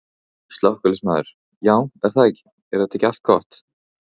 Slökkviliðsmaður: Já er það ekki, er þetta ekki allt gott?